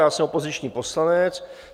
Já jsem opoziční poslanec.